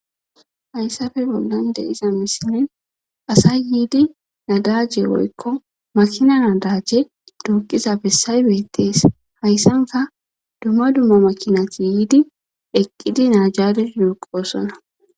hayssafe bollan de iza misine asay yiidi nadajje woykko makina nadaje duuqiza bessay beettees hayssanka dumma dummo makinati yiidi eqqidi naajadiidoqosona